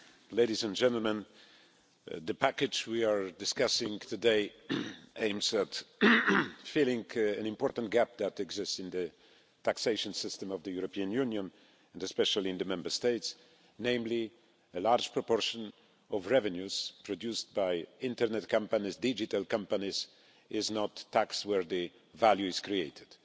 Mr President, ladies and gentlemen, the package we are discussing today aims at filling an important gap that exists in the taxation system of the European Union, and especially in the Member States namely, a large proportion of revenues produced by Internet companies, digital companies, are not taxed where the value is created.